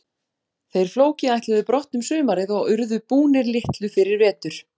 Þeir Flóki ætluðu brott um sumarið og urðu búnir litlu fyrir vetur.